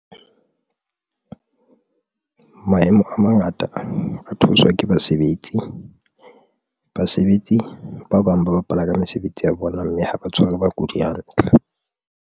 Maemo a mangata a theoswa ke basebetsi. Basebetsi ba bang ba bapala ka mesebetsi ya bona mme ha ba tshware bakudi hantle.